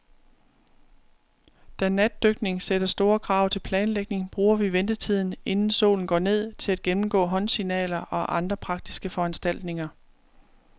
Da natdykning sætter store krav til planlægning, bruger vi ventetiden, inden solen går ned, til at gennemgå håndsignaler og andre praktiske foranstaltninger.